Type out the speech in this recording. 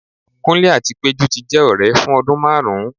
kunle ati pejú ti jẹ ọrẹ fun ọdun marún